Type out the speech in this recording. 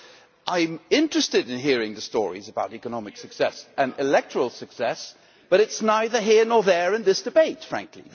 So I am interested in hearing the stories about economic success and electoral success, but it is neither here nor there in this debate, frankly.